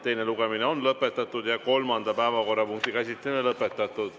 Teine lugemine on lõpetatud ja kolmanda päevakorrapunkti käsitlemine samuti lõpetatud.